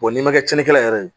n'i ma cɛnni kɛ yɛrɛ